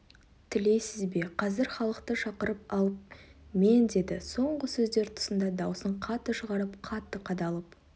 тілейсіз бе қазір халықты шақырып алып мен деді соңғы сөздер тұсында даусын қатты шығарып қатты қадалып